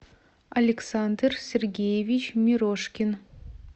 александр сергеевич мирошкин